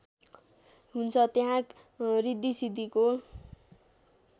हुन्छ त्यहाँ ऋद्धिसिद्धिको